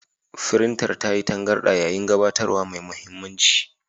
Firintar ta yi tangarɗa yayin gabatarwa mai mahimmanci.